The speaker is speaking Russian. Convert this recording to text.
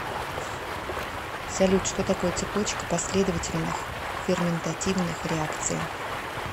салют что такое цепочка последовательных ферментативных реакций